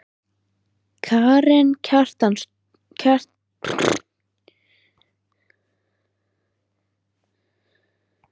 Karen Kjartansdóttir: Svo er búið að skjóta á húsið?